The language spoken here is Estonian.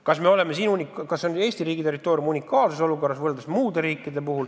Kas me oleme siin Eesti riigis selles mõttes unikaalses olukorras?